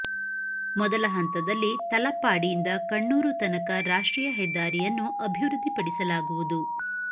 ಮೊದಲ ಹಂತದಲ್ಲಿ ತಲಪ್ಪಾಡಿಯಿಂದ ಕಣ್ಣೂರು ತನಕ ರಾಷ್ಟ್ರೀಯ ಹೆದ್ದಾರಿಯನ್ನು ಅಭಿವೃದ್ಧಿ ಪಡಿಸಲಾಗುವುದು